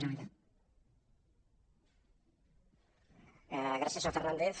gràcies senyor fernández